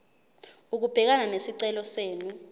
ukubhekana nesicelo senu